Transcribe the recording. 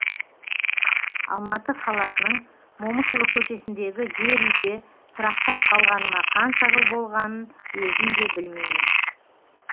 алматы қаласының момышұлы көшесіндегі жер үйде тұрақтап қалғаныма қанша жыл болғанын өзім де білмеймін